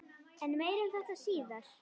En meira um þetta síðar.